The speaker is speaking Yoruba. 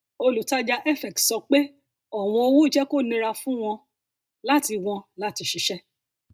olùtajà fx sọ pé ọwọn owó jẹ kó nira fún wọn láti wọn láti ṣiṣẹ